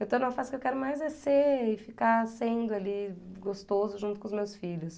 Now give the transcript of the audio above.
Eu estou numa fase que eu quero mais é ser, ficar sendo ali gostoso junto com os meus filhos.